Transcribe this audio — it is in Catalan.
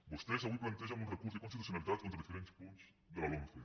vostès avui plantegen un recurs d’inconstitucionalitat contra diferents punts de la lomce